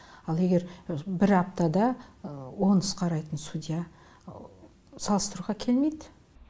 ал егер бір аптада он іс қарайтын судья салыстыруға келмейді